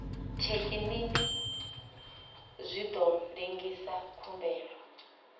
thekinini zwi ḓo lengisa khumbelo